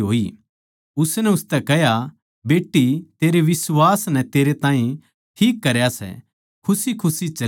उसनै उसतै कह्या बेट्टी तेरै बिश्वास नै तेरै ताहीं ठीक करया सै खुशीखुशी चली जा